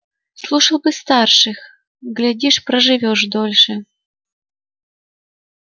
слушал бы старших глядишь проживёшь подольше